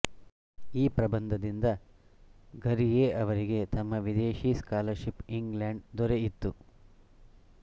ಈ ಪ್ರಬಂದಿಂದ ಘುರ್ಯೆ ಅವರಿಗೆ ತಮ್ಮ ವಿದೇಶಿ ಸ್ಕಾಲರ್ಶಿಪ್ಇಂಗ್ಲಂಡ್ ದೊರೆಯಿತ್ತು